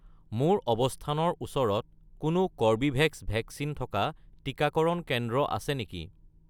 মোৰ অৱস্থানৰ ওচৰত কোনো কৰ্বীভেক্স ভেকচিন থকা টিকাকৰণ কেন্দ্ৰ আছে নেকি?